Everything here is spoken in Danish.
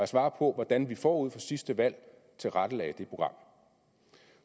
svarer på hvordan vi forud for sidste valg tilrettelagde det program